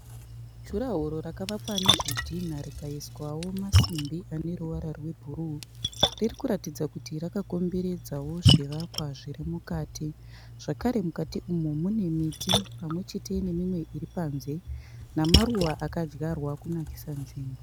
Jura woro rakavakwa nezvidhina rakaiswawo masimbi aneruvara rwe bhuruu. Riri kuratidza kuti raka komberedzawo zvivakwa zviri mukati. Zvakare mukati umu mune miti pamwechete nemimwe iri panze. Namaruva akadyarwa kunakisa nzvimbo.